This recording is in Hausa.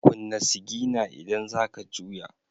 Kunna sigina idan za ka juya.